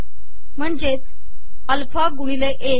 महणजेच alpha गुिणले ए